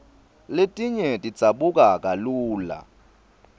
letinye tidzabuka kalula